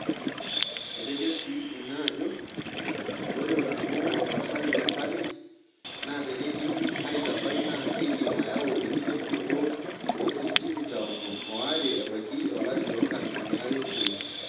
Etejo sii ina ajo ore olningo otaasaki te Paris naa teneidimi aitabai naa keidim ayau enkilepunoto oo sentimita onom ooare ebaiki olari loonkalifuni are o iip.